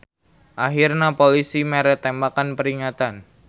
Ahirna polisi mere tembakan peringatan.